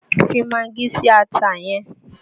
Fi magí si ata yẹn!